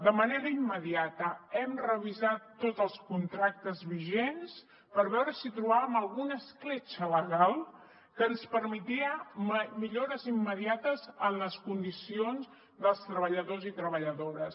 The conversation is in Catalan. de manera immediata hem revisat tots els contractes vigents per veure si trobàvem alguna escletxa legal que ens permetessin millores immediates en les condicions dels treballadors i treballadores